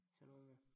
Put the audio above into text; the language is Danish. Sønder Omme ja